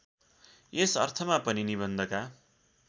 यस अर्थमा पनि निबन्धका